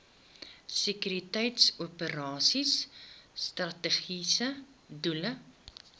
sekuriteitsoperasies strategiese doel